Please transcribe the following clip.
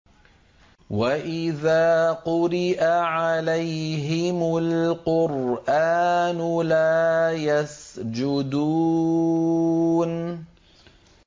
وَإِذَا قُرِئَ عَلَيْهِمُ الْقُرْآنُ لَا يَسْجُدُونَ ۩